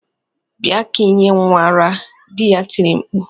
bia ka inye nwa ara!" di ya tiri mkpu